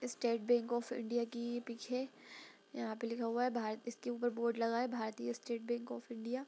State bank of India की पीछे है यहाँ पे लिखा हुआ है भारतीय इसके ऊपर बोर्ड लगा है भारतीय स्टेट बैंक ऑफ़ इंडिया ।